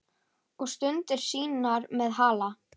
Og stundir sínar með Halla.